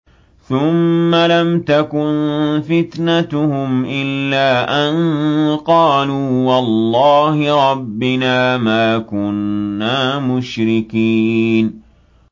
ثُمَّ لَمْ تَكُن فِتْنَتُهُمْ إِلَّا أَن قَالُوا وَاللَّهِ رَبِّنَا مَا كُنَّا مُشْرِكِينَ